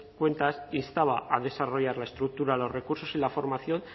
cuentas instaba a desarrollar la estructura los recursos y la formación